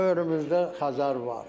Böyrümüzdə Xəzər var.